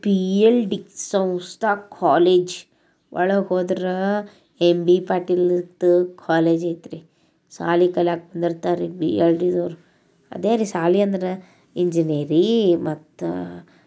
B L D ಸಂಸ್ಥೆ college ಇದೆ ಪಾಟೀಲ್ ಅವರ ಕಾಲೇಜ್ ಇದು.